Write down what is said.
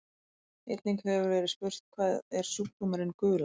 Einnig hefur verið spurt: Hvað er sjúkdómurinn gula?